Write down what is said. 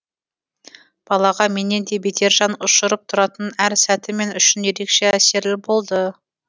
балаға менен де бетер жан ұшырып тұратын әр сәті мен үшін ерекше әсерлі болды